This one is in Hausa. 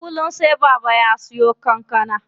Kullum sai Baba ya siyo kankana.